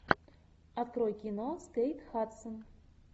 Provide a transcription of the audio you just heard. открой кино с кейт хадсон